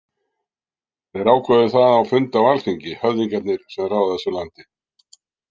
Þeir ákváðu það á fundi á alþingi, höfðingjarnir sem ráða þessu landi.